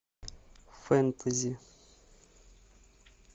фэнтези